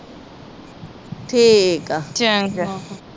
ਠੀਕ ਆ ਚੰਗਾ